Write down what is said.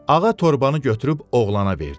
Ağa torbanı götürüb oğlana verdi.